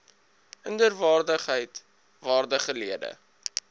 inderwaarheid waardige lede